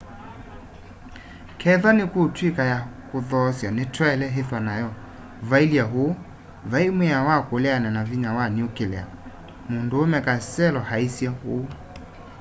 kethwa nikutwika ya kuthoosya nitwaile ithwa nayo vailye uu vai mwiao wa kuleana na vinya wa nuclear munduume costello aisye uu